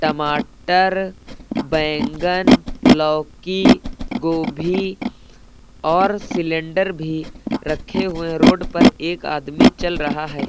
टमाटर बैंगन लौकी गोभी और सिलेंडर भी रखे हुए है रोड पर एक आदमी चल रहा है।